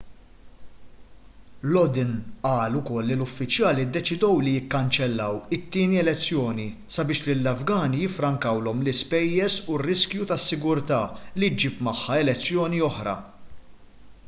lodin qal ukoll li l-uffiċjali ddeċidew li jikkanċellaw it-tieni elezzjoni sabiex lill-afgani jiffrankawlhom l-ispejjeż u r-riskju tas-sigurtà li ġġib magħha elezzjoni oħra